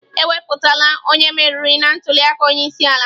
Ekwuputala onye meriri na ntuli aka onye isi ala.